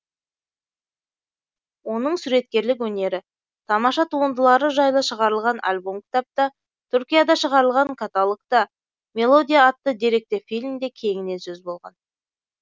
оның суреткерлік өнері тамаша туындылары жайлы шығарылған альбом кітапта түркияда шығарылған каталогта мелодия атты деректі фильмде кеңінен сөз болған